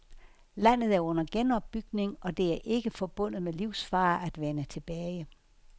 Landet er under genopbygning, og det er ikke forbundet med livsfare at vende tilbage.